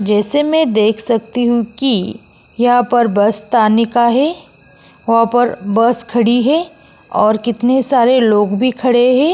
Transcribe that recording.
जैसे मैं देख सकती हूं कि यहाँ पर बस ताने का है। वहाँ पर बस खड़ी है और कितने सारे लोग भी खड़े हैं।